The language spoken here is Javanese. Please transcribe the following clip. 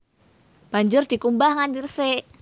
Banjur dikumbah nganti resik